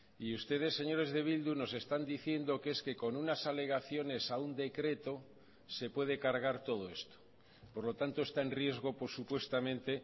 y ustedes señores de bildu nos están diciendo que es que con unas alegaciones a un decreto se puede cargar todo esto por lo tanto está en riesgo supuestamente